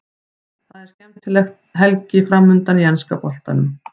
Það er skemmtileg helgi framundan í enska boltanum.